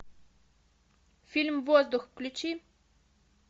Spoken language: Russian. фильм воздух включи